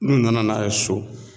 N'u nana n'a ye so